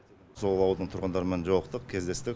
сол ауылдың тұрғындарымен жолықтық кездестік